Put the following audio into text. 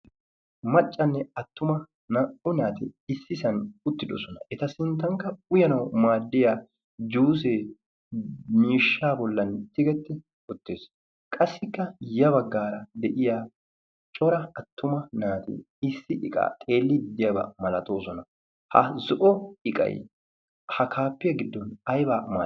Maccanne attuma naa'u naati issisan uttidosona. Eta sinttanikka uyanaw maaddiya juusee miishsha bollan tigetti uttiis. Qassikka ya baggaara de'iya cora attuma naati issi iqaa xeellid de'iyaba malatoosona. Ha zo'o iqay ha kaappiya gidon aybaa malati?